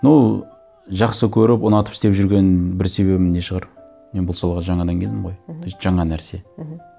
ну жақсы көріп ұнатып істеп жүрген бір себебім не шығар мен бұл салаға жаңадан келдім ғой мхм то есть жаңа нәрсе мхм